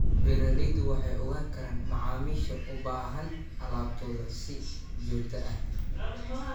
Beeraleydu waxay ogaan karaan macaamiisha u baahan alaabtooda si joogto ah.